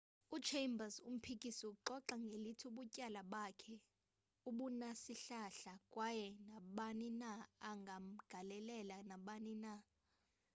u-chambers umphikisi uxoxa ngelithi ubutyala bakhe abunasihlahla kwaye nabani na angamangalela nabani na